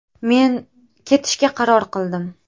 Men ketishga qaror qildim.